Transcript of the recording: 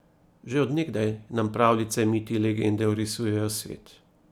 Že od nekdaj nam pravljice, miti, legende orisujejo svet.